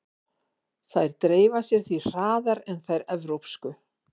Þær dreifa sér því hraðar en þær evrópsku.